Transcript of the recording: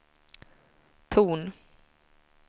ton